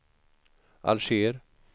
Alger